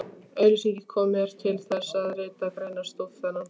Auglýsingin kom mér til þess, að rita greinarstúf þennan.